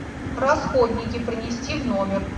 расходники принести в номер